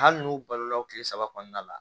Hali n'u balola o tile saba kɔnɔna la